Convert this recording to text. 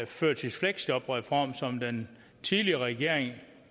førtidsfleksjobreform som den tidligere regering